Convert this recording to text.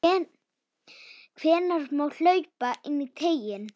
Hvenær má hlaupa inní teiginn?